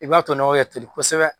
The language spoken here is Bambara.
I b'a to nɔgɔ ka toli kosɛbɛ